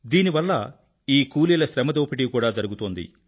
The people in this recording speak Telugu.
దీనివల్ల ఈ కూలీల శ్రమ దోపిడీ కూడా జరుగుతోంది